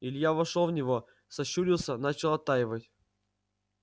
илья вошёл в него сощурился начал оттаивать